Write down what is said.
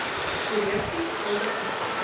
korrupsie skuldig bevind